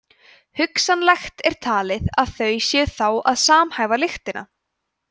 hugsanlegt er talið að þau séu þá að samhæfa lyktina